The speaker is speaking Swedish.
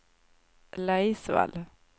Laisvall